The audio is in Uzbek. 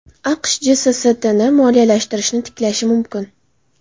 AQSh JSSTni moliyalashtirishni tiklashi mumkin.